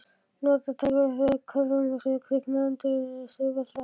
Og notaði tækifærið þegar kórsöngur kviknaði að undirlagi stuðboltanna.